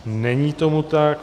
Není tomu tak.